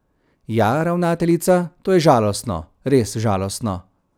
Ja, ravnateljica, to je žalostno, res žalostno.